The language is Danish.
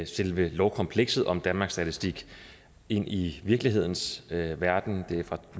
selve lovkomplekset om danmarks statistik ind i virkelighedens verden det er fra